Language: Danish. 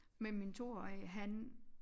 Men min toårige han